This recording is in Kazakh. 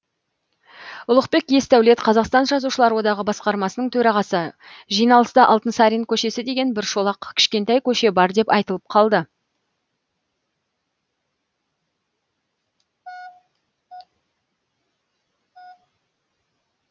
ұлықбек есдәулет қазақстан жазушылар одағы басқармасының төрағасы жиналыста алтынсарин көшесі деген бір шолақ кішкентай көше бар деп айтылып қалды